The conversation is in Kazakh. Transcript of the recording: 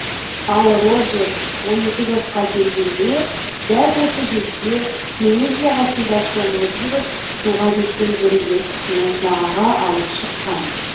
ал роджер он екі жасқа келгенде дәл осы жерде теңіз жағасында шомылып жүріп суға кеткен бір ер кісіні жағаға алып шыққан